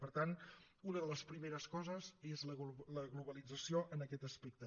per tant una de les primeres coses és la globalització en aquest aspecte